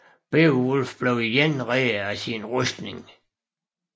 Beovulf bliver igen reddet af sin rustning